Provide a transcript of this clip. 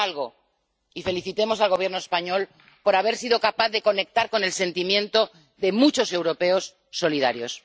Hagan algo, y felicitemos al Gobierno español por haber sido capaz de conectar con el sentimiento de muchos europeos solidarios.